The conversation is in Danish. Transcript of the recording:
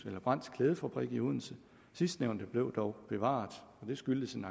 eller brandts klædefabrik i odense sidstnævnte blev dog bevaret og det skyldes en